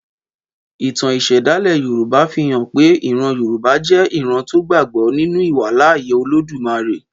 Ìtàn ìṣẹ̀dálẹ̀ Yorùbá fi hàn pé ìran Yorùbá jẹ́ ìran tó gbàgbọ́ ninu ìwàláàyè Olódùmarè